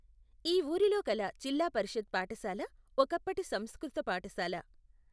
ఈ ఊరిలో కల జిల్లా పరిషత్ పాఠశాల ఒకప్పటి సంస్కృత పాఠశాల.